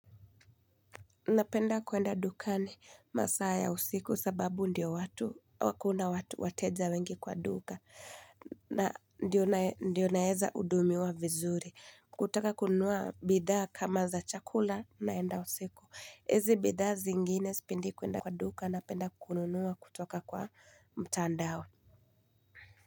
Napenda kuenda dukani masaa ya usiku sababu ndiyo watu hakuna watu wateja wengi kwa duka na ndiyo naeza hudumiwa vizuri kutaka kununua bidhaa kama za chakula naenda usiku hizi bidhaa zingine sipendi kuenda kwa duka napenda kununua kutoka kwa mtandao.